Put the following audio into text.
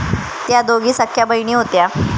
त्या दोघी सख्ख्या बहिणी होत्या.